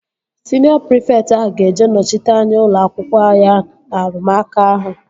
Siniọ prịfekt ahụ ga-eje nọchite anya ụlọ akwụkwọ ya na arụmụka ahụ